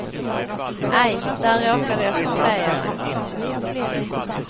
Aj, där råkade jag försäga mig.